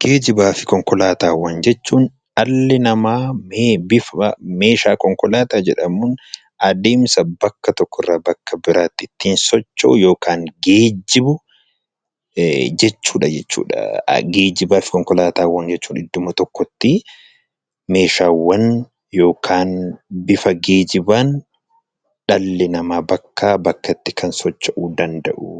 Geejjibaa fi konkolaataawwan jechuun dhalli namaa meeshaalee konkolaataa jedhamuun adeemsa bakka tokkorraa bakka biraatti ittiin socho'u yookiin geejjibu